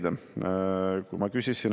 Hea istungi juhataja!